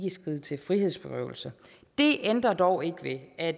skride til frihedsberøvelse det ændrer dog ikke ved at